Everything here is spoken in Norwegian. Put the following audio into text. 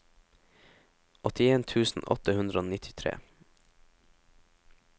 åttien tusen åtte hundre og nittitre